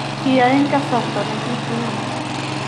Kiyaai en kasarta negiteen.